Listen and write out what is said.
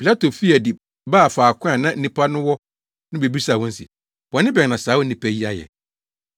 Pilato fii adi baa faako a na nnipa no wɔ no bebisaa wɔn se, “Bɔne bɛn na saa onipa yi ayɛ?”